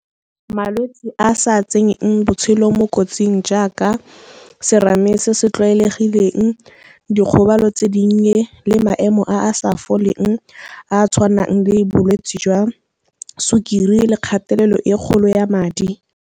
Malwetse a sa tsenyeng botshelo mo kotsing jaaka serame se se tlwaelegileng, dikgobalo tse dinnye le maemo a a sa foleng a a tshwanang le bolwetsi jwa sukiri le kgatelelo e kgolo ya madi.